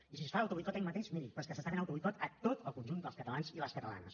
i si es fa autoboicot a ell mateix miri però és que s’està fent autoboicot a tot el conjunt dels catalans i les catalanes